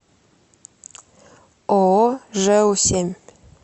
ооо жэу семь